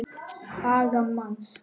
aga manns.